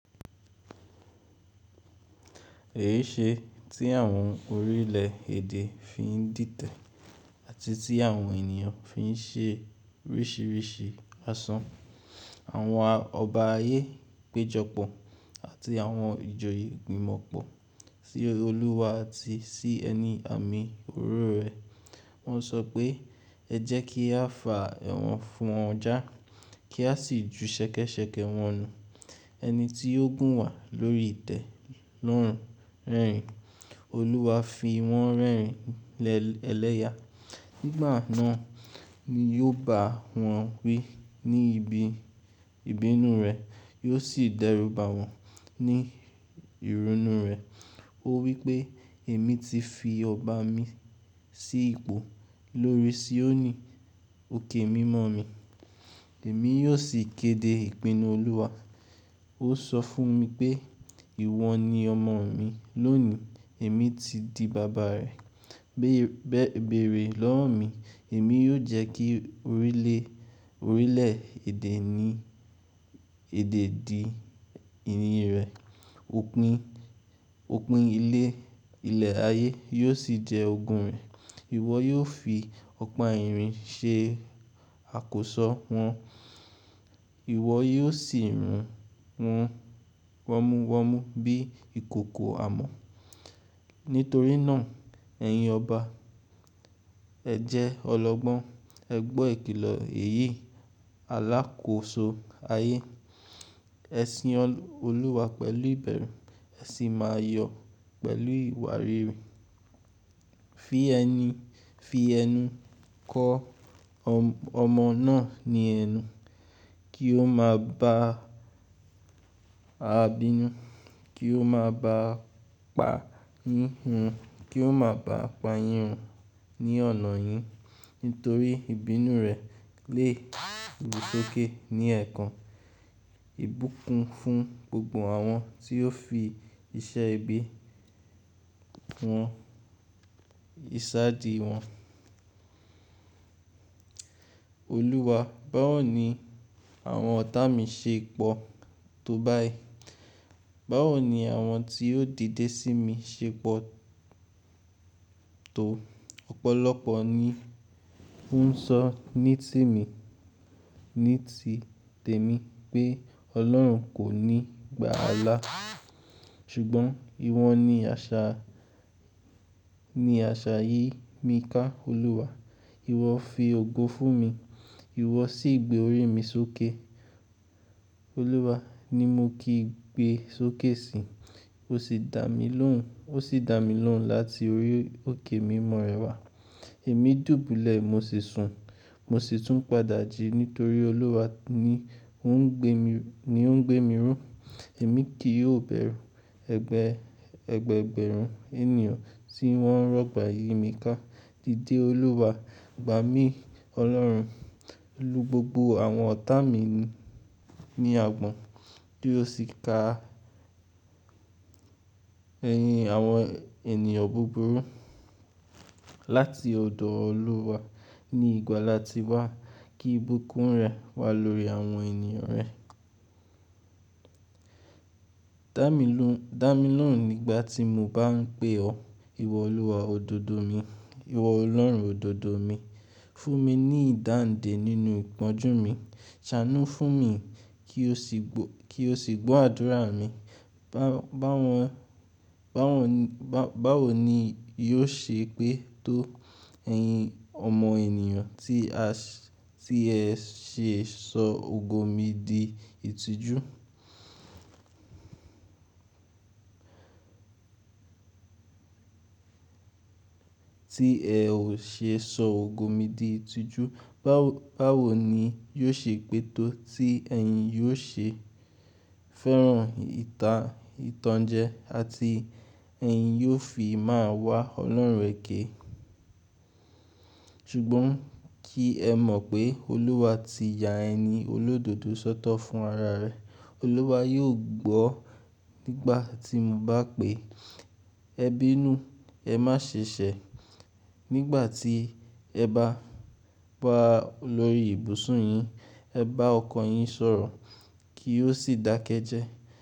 Èyí ṣe tí àwọn orílẹ̀ èdè fi ń dìtẹ̀ àti tí àwọn ènìyàn fi ń ṣe oríṣìíríṣìí àsàn. Àwọn ọba ayé péjọpọ̀ àti àwọn ìjòyè gbìmọ̀ pọ̀ sí Olúwa àti sí ẹni àmì òróró rẹ̀. Wọ́n sọ pé, ẹ jẹ́ kí a fà wọ́n fún ọ já, kí a sì ju ṣẹ̀kẹ́ṣẹ̀kẹ́ wọn nù. Ẹni tí ó gùn wà lórí ìtẹ́ ló ń rẹ́rìn-ín, Olúwa fi wọ́n rẹ́rìn-ín lélẹ́yà. Nígbà náà ni yóò bá wọn wí ní ibi ìbínú rẹ̀, yóò sì dẹ́rù bá wọn ní ìrunú rẹ̀. Ó wí pé èmi ti fi ọba mi sí ipò lórí Sioni, òkè mímọ́ mi. Èmi yóò sì kéde ìpinnu Olúwa. Ó sọ fún mi pé ìwọ ni ọmọ mi, lónìí èmi ti di baba rẹ. Bẹ̀rẹ̀ lọ́wọ́ mi, èmi yóò jẹ́ kí orílè, orílẹ̀ èdè ní, èdè di ìní rẹ, òpin, òpin ilẹ̀ ayé yóò sì jẹ́ ogun rẹ. Ìwọ yóò fi ọ̀pá irin ṣe àkóso wọn, ìwọ yóò sì rún wọn wọ́múwọ́mú bí ìkòkò amọ̀. Nítorí náà ẹ̀yin ọba, ẹ jẹ́ ọlọ́gbọ́n, ẹ gbọ́ ìkìlọ̀ èyí, alákòóso ayé. Ẹ sin Olúwa pẹ̀lú ìbẹ̀rù, ẹ sì máa yọ̀ pẹ̀lú ìwárìrì. Fi ẹni, fi ẹnu kọ́ ọmọ náà ní ẹnu kí ó máa ba à bínú, kí ó máa ba à pa yíryn, kí ó máa ba à pa yírún ní ọ̀nà yín. Nítorí ìbínú rẹ̀ lè ru sókè ní ẹ̀ẹ̀kan, ìbúkún fún gbogbo àwọn tí ó fi iṣẹ́ ibi wọn, iṣàdí wọn. Olúwa, báwo ni àwọn ọ̀tá mi ṣe pọ̀ tó báyìí? Báwo ni àwọn tí ó dìde sí mi ṣe pọ̀ tó? Ọ̀pọ̀lọpọ̀ ni ó ń sọ ní ti mi, ní ti tèmi pé Ọlọ́run kò ní gbà á lá. Ṣùgbọ́n ìwọ ni àṣà, ní àṣà yìí mi ká Olúwa. Ìwọ fi ògo fún mi, ìwọ sì gbé orí mi sókè. Olúwa ni mo kí gbé sókè si, ó sì dà mí lóhùn, ó sì dà mí lóhùn láti orí òkè mímọ́ rẹ wá. Èmi dùbúlẹ̀, mo sì sun, mo sì tún padà jí nítorí Olúwa ni ó ń gbé mi, ni ó ń gbé mi rún. Èmi kì í ó bẹ̀rù ẹgbẹ̀rún, ẹgbẹ̀rún ènìyàn tí wọ́n rọ̀gbà yìí mi ká. Dìde Olúwa, gba mi Ọlọ́run, lu gbogbo àwọn ọ̀tá mi ní àgbọ̀n kí ó sì ka ẹyin àwọn ènìyàn búburú láti ọ̀dọ̀ Olúwa. Ni ìgbà láti wá kí ìbúkún rẹ̀ wá lórí àwọn ènìyàn rẹ. Dà mí lóhùn nígbà tí mo bá ń pè ọ́. Ìwọ Olúwa òdodo mi, ìwọ Ọlọ́run òdodo mi, fún mi ní ìdáǹdè nínú ìpọ́njú mi. Ṣánú fún mi kí o sì gbọ́, kí o sì gbọ́ àdúrà mi. Báwo ni, báwo ni yóò ṣe pé tó ẹyin ọmọ ènìyàn tí ẹ ṣè sọ ògo mi di ìtìjú? Tí ẹ ò ṣe sọ ògo mi di ìtìjú, báwo ni yóò ṣe pé tó tí ẹ̀yin yóò ṣe fẹ́ràn ìtàn, ìtànjẹ àti ẹ̀yin yóò fi máa wá Ọlọ́run rẹ ké. Ṣùgbọ́n kí ẹ mọ̀ pé Olúwa ti ya ẹni olódodo sọ́tọ̀ fún ara rẹ̀. Olúwa yóò gbọ́ nígbà tí mo bá pè é. Ẹ bínú, ẹ má ṣe ṣẹ̀. Nígbà tí ẹ bá lọ lórí ibùsùn yín, ẹ bá ọkọ yín sọ̀rọ̀ kí ó sì dákẹ́ jẹ́.